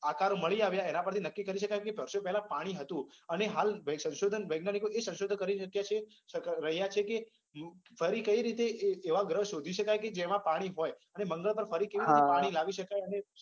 આકારો મળી આવ્યા એના પરથી નક્કી કરી શકાય કે વર્ષો પહેલા પાણી હતુ. અને હાલ સંશોધન વૈજ્ઞાનીકો પણ સંશોધન કરી ચુક્યા છે કરી રહ્યા છે કે ફરી કઈ રીતે એવા ગ્રહ શોધી શકાય કે જેમાં પાણી હોય અને મંગળ પર ફરીથી પાણી લાવી શકાય.